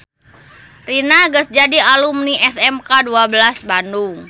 Rina geus jadi alumni SMK 12 Bandung